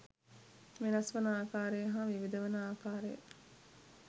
වෙනස්වන ආකාරය හා විවිධ වන ආකාරය